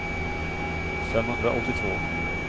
femhundraåttiotvå